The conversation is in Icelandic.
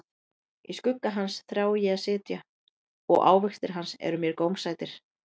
Í skugga hans þrái ég að sitja, og ávextir hans eru mér gómsætir.